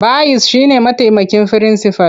Bayis shi ne mataimakin firinsifal.